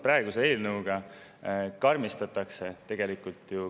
Praeguse eelnõuga tegelikult karmistatakse.